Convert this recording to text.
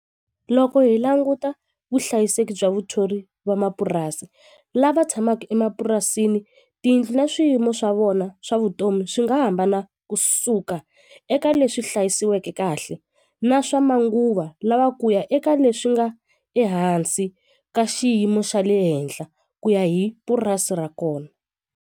Loko hi languta vuhlayiseki bya vuthori va mapurasi lava tshamaka emapurasini tiyindlu na swiyimo swa vona swa vutomi swi nga hambana kusuka eka leswi hlayisiweke kahle na swa manguva lawa kuya eka leswi nga ehansi ka xiyimo xa le henhla ku ya hi purasi ra kona.